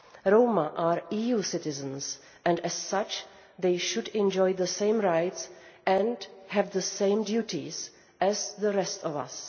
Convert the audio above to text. Roma are EU citizens, and as such they should enjoy the same rights and have the same duties as the rest of us.